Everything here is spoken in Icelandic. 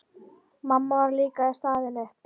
Mamma var líka staðin upp.